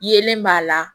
Yelen b'a la